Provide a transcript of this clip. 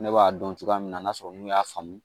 Ne b'a dɔn cogoya min na n'a sɔrɔ n'u y'a faamu